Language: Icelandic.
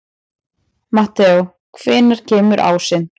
Mateó, hvenær kemur ásinn?